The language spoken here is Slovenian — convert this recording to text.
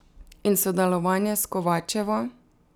In sodelovanje s Kovačevo?